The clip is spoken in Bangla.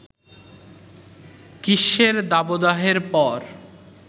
গ্রীষ্মের দাবদাহের পর